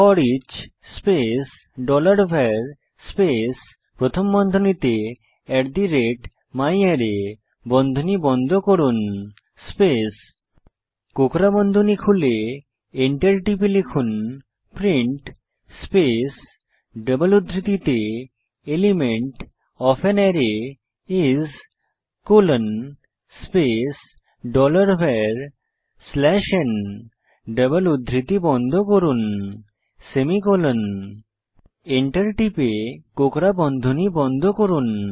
foreach space dollar var space প্রথম বন্ধনীতে at the rate ম্যারে বন্ধনী বন্ধ করুন স্পেস কোঁকড়া বন্ধনী খুলে enter টিপে লিখুন প্রিন্ট স্পেস ডবল উদ্ধৃতিতে element of an array is colon space dollar var slash n double উদ্ধৃতি বন্ধ করুন সেমিকোলন Enter টিপে কোঁকড়া বন্ধনী বন্ধ করুন